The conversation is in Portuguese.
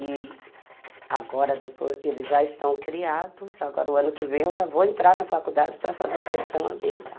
E agora depois eles já estão criados, agora o ano que vem eu já vou entrar na faculdade para fazer gestão ambiental.